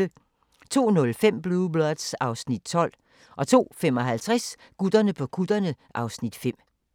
02:05: Blue Bloods (Afs. 12) 02:55: Gutterne på kutterne (Afs. 5)